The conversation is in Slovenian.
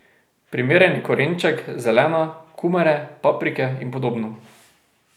Primeren je korenček, zelena, kumare, paprike in podobno.